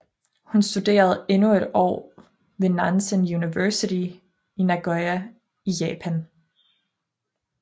Hun studerede endnu et år ved Nanzan University i Nagoya i Japan